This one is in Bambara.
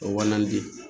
O walan de